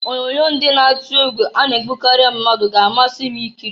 Onyoonyo ndị na-atụ egwu a na-egbukari mmadụ ga-amasị m ikiri.